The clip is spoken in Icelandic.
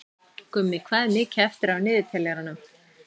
Gummi, hvað er mikið eftir af niðurteljaranum?